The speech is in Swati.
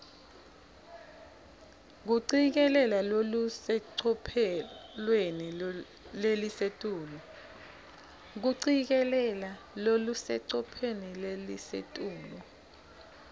kucikelela lolusecophelweni lelisetulu